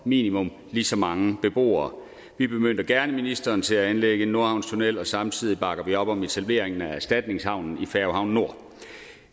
minimum lige så mange beboere vi bemyndiger gerne ministeren til at anlægge en nordhavnstunnel og samtidig bakker vi op om etableringen af erstatningshavnen i færgehavn nord